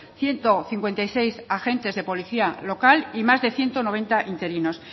ciento cincuenta y seis agentes de policía local y más de ciento noventa interinos